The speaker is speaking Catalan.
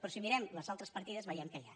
però si mirem les altres partides veiem què hi ha